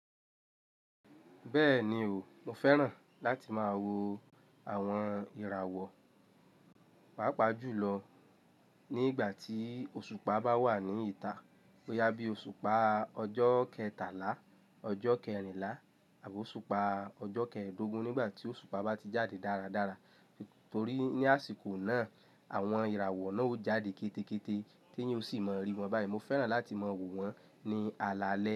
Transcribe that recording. Bẹ́ẹ̀ni o, mo fẹ́ràn láti máa wo àwọn ìràwọ̀, pàápàá jùlọ ní ìgbà tí òṣùpá bá wà ní ìta. Boyá bí òṣùpá ọjọ́ kẹtàlá, ọjọ́ kẹrinlá àbí òṣùpá ọjọ́ kẹ́ẹ̀dógún nígbà tí òṣùpá bá ti jáde dáradára. Nítorí ní àsìkò náà, àwọn ìràwọ̀ náà ó jáde kéte kéte tí yín ò sì má rí wọn báyìí. Mo fẹ́ràn láti máa wò wọ́n ní alaalẹ́.